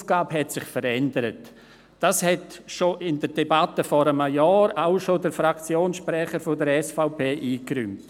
Die Aufgabe hat sich verändert, was dem Fraktionssprecher der SVP bereits in der Debatte vor einem Jahr einleuchtete.